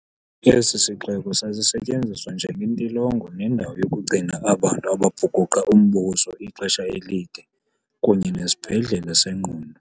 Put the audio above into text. Esi sixeko sasi setyenziswa njenge ntilongo nendawo yokugcina abantu ababhukuqa umbuso ixesha elide, kunye nesibhedlele sengqondo.